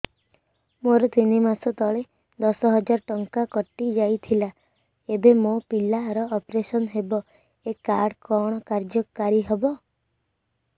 ମୋର ତିନି ମାସ ତଳେ ଦଶ ହଜାର ଟଙ୍କା କଟି ଯାଇଥିଲା ଏବେ ମୋ ପିଲା ର ଅପେରସନ ହବ ଏ କାର୍ଡ କଣ କାର୍ଯ୍ୟ କାରି ହବ